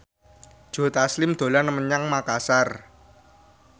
Joe Taslim dolan menyang Makasar